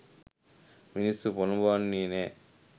මිනිස්සු පොළඹවන්නෙ නෑ.